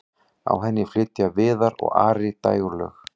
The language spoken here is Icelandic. á henni flytja viðar og ari dægurlög